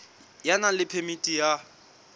ya nang le phemiti ya